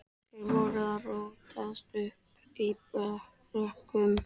Þeir voru að rótast uppi í brekkum.